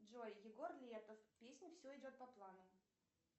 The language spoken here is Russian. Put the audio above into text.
джой егор летов песня все идет по плану